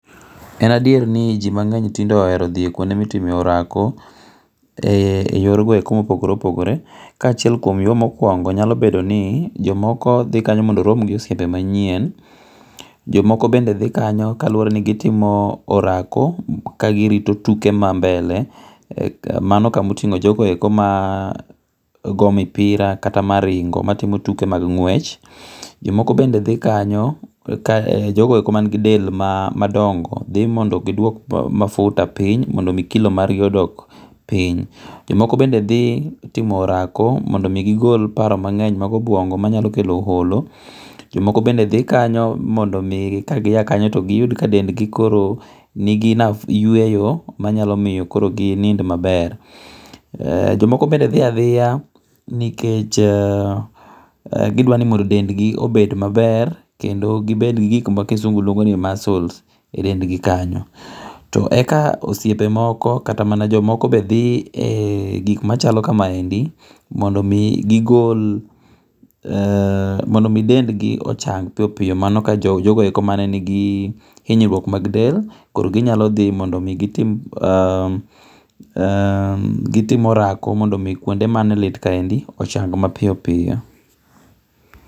En adieri ni ji mange'ny tinde ohero thi kwuonde ma itime orako e yor go eko mopogore opogore ka chiel kuom yo mokuongo nyalo bedo ni jomoko thi kanyo mondo orom gi osiepe manyien, jomoko bende thi kanyo kaluwore ni gitimo orako kagirito tuke mambele mano kama otingo' jogo eko ma go mipira kata maringo matimo tuke mag ng'wech, jomoko bende thi kanyo ka jogo eko man gi del madongo. thi mondo gi dwok mafuta piny mondo omi kilo margi okod piny, jomoko bende thi timo orako mondo imi gi gol paro mange' mag obuongo' manyalo kelo holo jomoko bende thi kanyo mondo mi kagiha kanyo to giyud ka dendgi koro nigi yuweyo manyalo miyo koro gi nind maber, jomoko bende thi athia nikech gidwani mondo dendgi obed maber kendo gi bed gi gik ma kizungu luongo' ni muscles e dendgi kanyo to eka osiepe moko kata mana jomoko be thi e gik machalo kama endi mondo omi gi gol mondo omi dendgi ochang' mapiyo piyo mano ka jogo eko manenigi hinyruok mag del koro ginyalo thi mondo omi gitim orako mondo omi kuonde mane lit kaendi ochang' mapiyo piyo